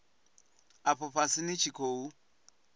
afho fhasi ni tshi khou